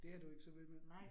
Det er du ikke så vild med?